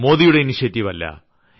മോദിയുടെ ഇനീഷ്യേറ്റീവ് അല്ല